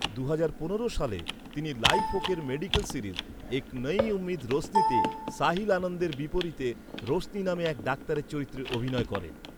দুহাজার পনেরো সালে, তিনি ‘লাইফ ওকে’র মেডিক্যাল সিরিজ ‘এক নয়ি উম্মীদ রোশনি’তে সাহিল আনন্দের বিপরীতে রোশনি নামে এক ডাক্তারের চরিত্রে অভিনয় করেন।